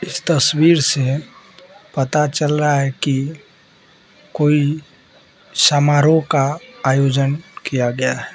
इस तस्वीर से पता चल रहा है कि कोई समारोह का आयोजन किया गया है।